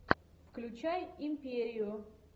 включай империю